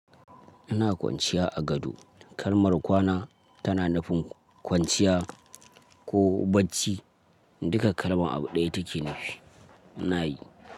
Ina kwanciya a gado. Kalmar kwana tana nufin kwanciya ko bacci. Duka kalman abu ɗaya take. Nayi.